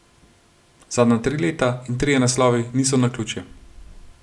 Zadnja tri leta in trije naslovi niso naključje.